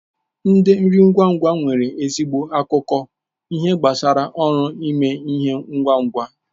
Ndi nri ngwa ngwa nwere ezigbo akụkọ ihe gbasara ọrụ ime ihe ngwa ngwa.